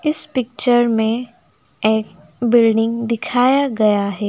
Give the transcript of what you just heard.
इस पिक्चर में एक बिल्डिंग दिखाया गया है।